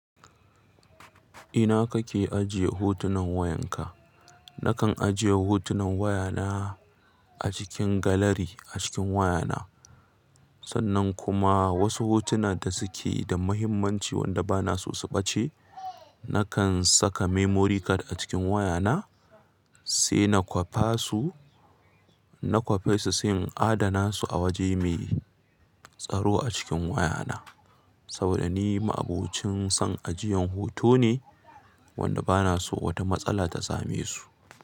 Ina ka ke ajiye hotunan wayanka? Na kan ajiye hotunan wayana a cikin galari a cikin wayana. Sannan kuma wasu hotuna da su ke da muhimmanci wanda ba na so su ɓace, na kan saka memory card a cikin wayana sai na kwafa su, na kwafe su sai in adana su a waje mai tsaro a cikin wayana. Saboda ni ma'abocin son ajiyan hoto ne wanda ba na so wata matsala ta same su.